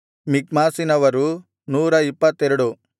ಮಿಕ್ಮಾಸಿನವರು 122